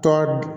Tɔ